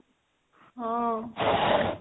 ହଁ